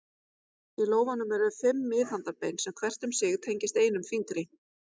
Í lófanum eru fimm miðhandarbein sem hvert um sig tengist einum fingri.